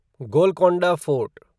Golconda fort